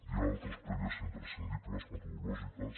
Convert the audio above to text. hi ha altres prèvies imprescindibles metodològiques